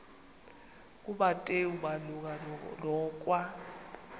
kumateyu malunga nokwa